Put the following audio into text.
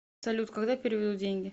салют когда переведут деньги